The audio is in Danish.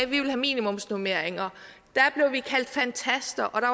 ville have minimumsnormeringer blev vi kaldt fantaster og der